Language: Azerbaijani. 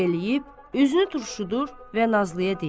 eləyib, üzünü turşudur və Nazlıya deyir: